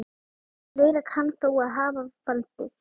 Fleira kann þó að hafa valdið.